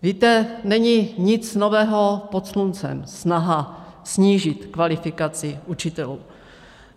Víte, není nic nového pod sluncem snaha snížit kvalifikaci učitelů.